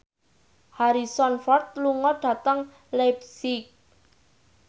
Harrison Ford lunga dhateng leipzig